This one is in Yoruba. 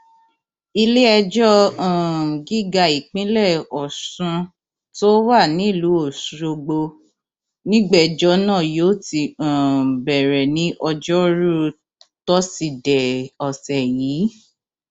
iléẹjọ um gíga ìpínlẹ ọsùn tó wà nílùú ọṣọgbó nígbẹjọ náà yóò ti um bẹrẹ ní ọjọrùú tọsídẹẹ ọsẹ yìí